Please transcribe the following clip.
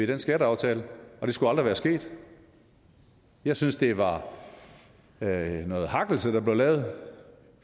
den skatteaftale og det skulle aldrig være sket jeg synes det var noget hakkelse der blev lavet